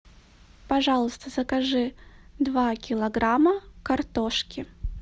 пожалуйста закажи два килограмма картошки